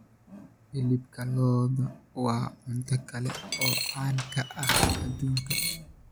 Hilibka lo'da waa cunto kale oo caan ka ah adduunka.